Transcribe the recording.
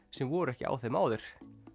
sem voru ekki á þeim áður